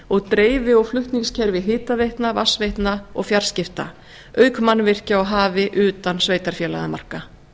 og dreifi og flutningskerfi hitaveitna vatnsveitna og fjarskipta auk mannvirkja á hafi utan sveitarfélagamarka